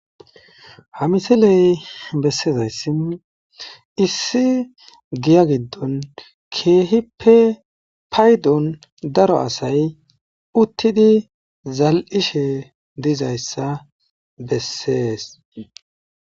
Hamisiley bessezayssin issi giya giddon keehippe paydon daro asay uttidi zal'ishe dizayssa bessees.